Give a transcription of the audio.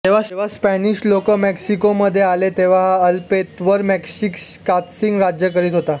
जेव्हा स्पॅनिश लोक मेक्सिकोमध्ये आले तेव्हा ह्या अल्तेपेत्लवर माशिश्कात्सिन राज्य करित होता